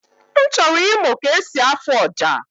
M chọrọ ịmụ ka esi afụ ọja